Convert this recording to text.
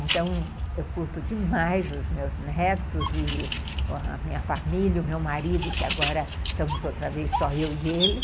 Então, eu curto demais os meus netos, e a minha família, o meu marido, que agora estamos outra vez só eu e ele.